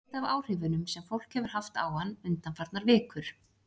Ég veit af áhrifunum sem fólk hefur haft á hann undanfarnar vikur.